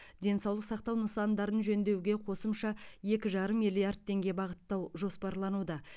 денсаулық сақтау нысандарын жөндеуге қосымша екі жарым миллиард теңге бағыттау жоспарлануда